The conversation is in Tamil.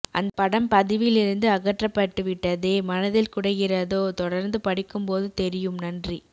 அந்தப் படம் பதிவிலிருந்து அகற்றப்பட்டு விட்டதே மனதில் குடைகிறதோ தொடர்ந்து படிக்கும்போது தெரியும் நன்றி